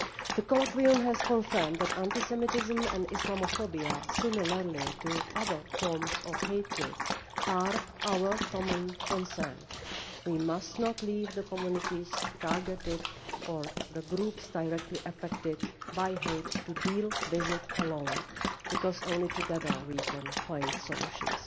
The colloquium confirmed that anti Semitism and Islamophobia, like other forms of hatred, are our common concern. We must not leave the communities targeted, or the groups directly affected by hate, to deal with it alone because only together can we find solutions.